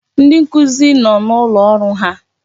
Ndi nkuzi no n'ụlọ ọrụ ha.